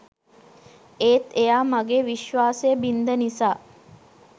ඒත් එයා මගේ විශ්වාසය බින්ද නිසා